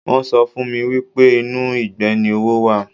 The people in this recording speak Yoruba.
Wọn sọ fún mi wípé inú ìgbẹ́ ni owó wà.